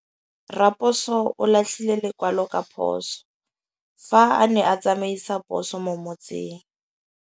Raposo o latlhie lekwalô ka phosô fa a ne a tsamaisa poso mo motseng.